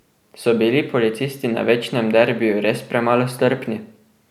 So bili policisti na večnem derbiju res premalo strpni?